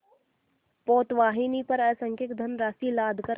पोतवाहिनी पर असंख्य धनराशि लादकर